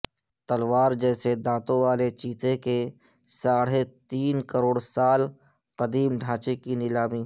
تلوار جیسے دانتوں والے چیتے کے ساڑھے تین کروڑ سال قدیم ڈھانچے کی نیلامی